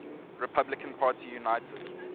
republican party united